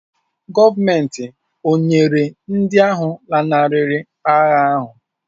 Gọọmenti ọ̀ nyere ndị ahụ lanarịrị agha ahụ́?